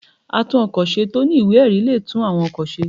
Àtún-ọ̀kọ̀ ṣe tọ ní ìwẹ́-erí le tún awọ́n òkọ̀ sẹ́